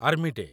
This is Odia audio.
army day